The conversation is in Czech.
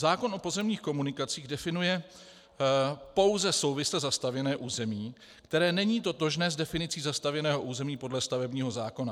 Zákon o pozemních komunikacích definuje pouze souvisle zastavěné území, které není totožné s definicí zastavěného území podle stavebního zákona.